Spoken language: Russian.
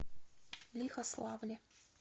лихославле